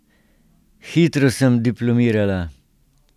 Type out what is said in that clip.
Hitro sem diplomirala.